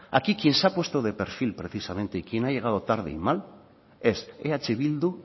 aquí quien se ha puesto de perfil precisamente y quien ha llegado tarde y mal es eh bildu